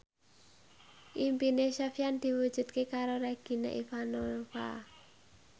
impine Sofyan diwujudke karo Regina Ivanova